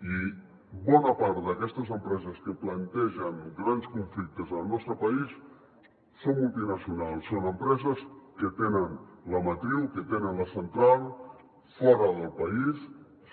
i bona part d’aquestes empreses que plantegen grans conflictes al nostre país són multinacionals són empreses que tenen la matriu que tenen la central fora del país